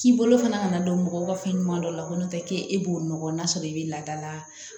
K'i bolo fana nana don mɔgɔ fɛnɲuman dɔ la ko n'o tɛ k'e b'o nɔgɔ n'a sɔrɔ i bɛ laadala